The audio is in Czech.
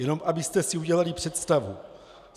Jenom abyste si udělali představu.